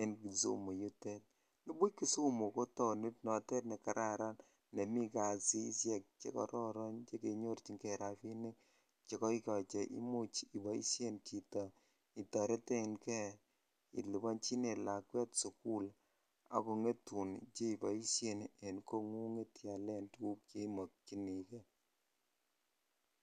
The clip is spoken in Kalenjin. en kisumu yutet nibuch kisumu ko taonit notet nekararan nemiten kasishek che kororon che kenyorchin kei rabinik chekoikoi che imuch iboisien chito itoretenkei ilibonjinen lakwet sukul akongetun chekiboisen en kongunget iyalen tukuk cheimokyinikei.